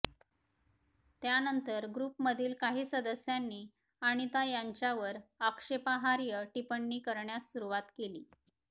त्यानंतर ग्रुपमधील काही सदस्यांनी अनिता यांच्यावर आक्षेपार्ह टिप्पणी करण्यास सुरूवात केली